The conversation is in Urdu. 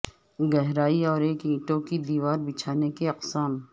گہرائی اور ایک اینٹوں کی دیوار بچھانے کی اقسام